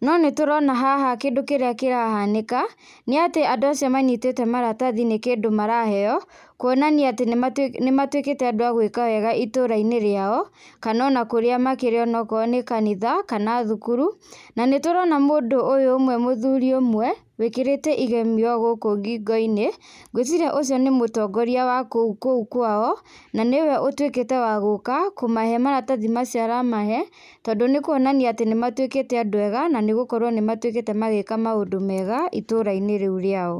no nĩtũrona haha kĩndũ kĩrĩa kĩrahanĩka nĩatĩ andũ acio manyitĩte maratathi nĩ kĩndũ maraheo kuonania atĩ nĩma nĩmatuĩkĩte andũ a gwĩka wega itũra-inĩ rĩao kana ona kũrĩa makĩrĩ onakorwo nĩ kanitha kana thukuru na nĩtũrona mũndũ ũyũ ũmwe mũthuri ũmwe wĩkĩrĩte igemio gũkũ ngingo-inĩ ngwĩ ciria ũcio nĩ mũtongoria wa kũu kũu kwao na nĩwe ũtwĩkĩte wa gũka kũmahe maratathi macio aramahe tondũ nĩkwonania atĩ nĩmatwĩkĩkĩte andũ ega na nĩgũkorwo nĩmatuĩkĩte magĩka maũndũ mega itũra-inĩ rĩu rĩao.